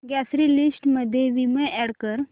grocery list मध्ये Vim add कर